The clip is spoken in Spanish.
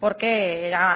porque era